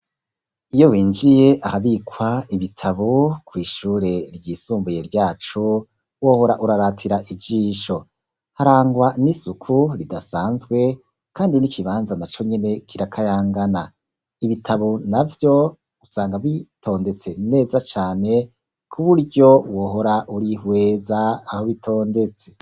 Iyo winjiye ahabikwa ibitabo kw'ishure ryisumbuye ryacu, wohora uraratira ijisho. Harangwa n'isuku ridasanzwe kandi n'ikibanza naco nyene kirakayangana. Ibitabo navyo usanga bitondetse neza cane, ku buryo wohora urihweza aho bitondetse.